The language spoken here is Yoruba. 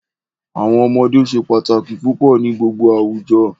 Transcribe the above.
Awọn ọmọde se pataki pupọ ni gbogbo awujọ.